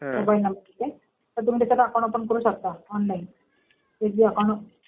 Mobile number हे ते तर तुम्ही त्याच्यात अकाउंट ओपन करू शकता ऑनलाईन. ते जे आपण